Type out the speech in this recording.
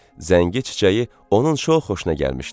Zəngi çiçəyi onun çox xoşuna gəlmişdi.